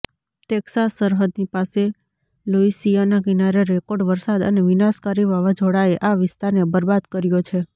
Texas સરહદની પાસે Louisiana કિનારે રેકોર્ડ વરસાદ અને વિનાશકારી વાવાઝોડાએ આ વિસ્તારને બરબાદ કર્યો છે